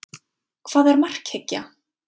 Hvað er markhyggja?